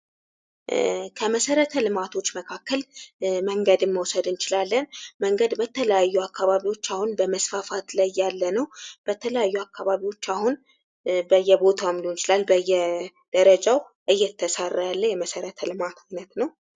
ክመሰረተ ልማቶች መካከል መንገድን መውሰድ እንችላለን። መንገድ በተለያዩ አካባቢዎች አሁን በመስፋፋት ላይ ያለ ነው። በተለያዩ አካባቢዎች አሁን በየቦታውም ሊሆን ይችላል በየደረጃው እየተሰራ ያለ የመሰረተ ልማት አይነት ነው።